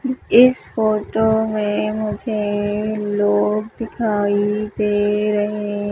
इस फोटो मे मुझे लोग दिखाई दे रहे--